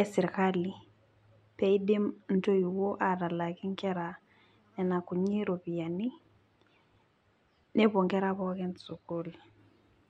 eserkali pee eidim ntoiwuo aatalaaki nkera nena kuti ropiyiani nepuo nkera pookin sukul.